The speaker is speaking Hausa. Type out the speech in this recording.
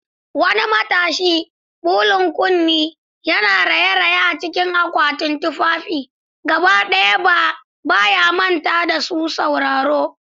Wani matashi, belun kunne, yana raye-raye a cikin akwatunan tufafi, gaba ɗaya ba ya manta da masu sauraro.